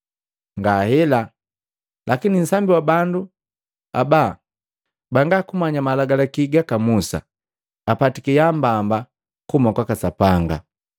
Ngahela lakini nsambi wa bandu aba bangakumanya Malagalaki gaka Musa, apatiki yaambamba kuhuma kwaka Sapanga!”